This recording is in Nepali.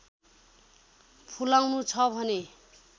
फुलाउनु छ भने